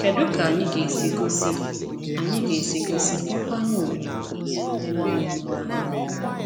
Kedu ka anyị ga-esi gosi anyị ga-esi gosi nkwanye ùgwù nye ndị nọ n’ógbè anyị?